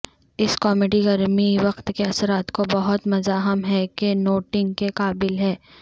اس comedy گرمی وقت کے اثرات کو بہت مزاحم ہے کہ نوٹنگ کے قابل ہے